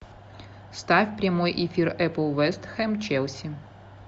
ставь прямой эфир апл вест хэм челси